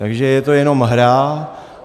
Takže je to jenom hra.